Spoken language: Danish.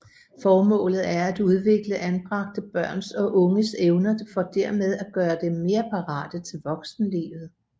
Formålet er at udvikle anbragte børns og unges evner for dermed at gøre dem mere parate til voksenlivet